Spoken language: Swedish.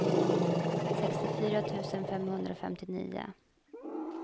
sextiofyra tusen femhundrafemtionio